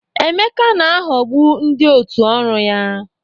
Emeka na-aghọgbu ndị òtù ọrụ ya.